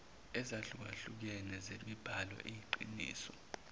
ezahlukehlukene zemibhalo eyiqiniso